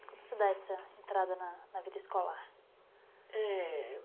Como você dá essa entrada na vida escolar? É...